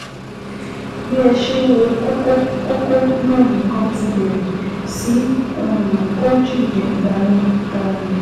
Bí ẹ ṣe ń wo kókó kókó náà nìkan ti bẹ̀rẹ̀ sí um kó jìnnìjìnnì bá yín um